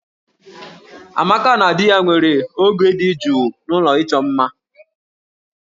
Amaka na di ya nwere oge dị jụụ n'ụlọ ịchọ mma